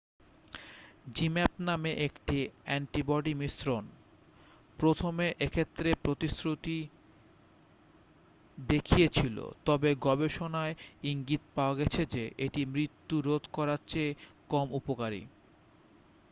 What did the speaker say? zmapp নামে একটি antibody মিশ্রণ প্রথমে এক্ষেত্রে প্রতিশ্রুতি দেখিয়েছিল তবে গবেষণায় ইঙ্গিত পাওয়া গেছে যে এটি মৃত্যু রোধ করার চেয়ে কম উপকারী